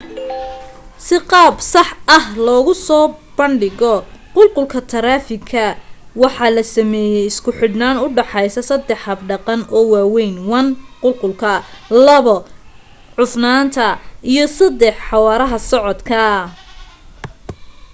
si qaab sax ah loogu soo banshigo qulqulka taraafiga waxaa la sameeyay isku xidhnaan u dhaxaysa saddex hab dhaqan oo waaweyn: 1 qulqulka.2 cufnaanta iyo 3xawaaraha socodka